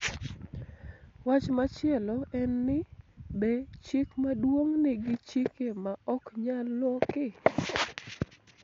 Wach machielo en ni be chik maduong� nigi chike ma ok nyal loki.